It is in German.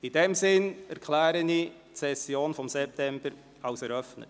In diesem Sinn erkläre ich die Septembersession für eröffnet.